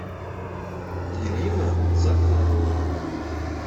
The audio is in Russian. ирина захарова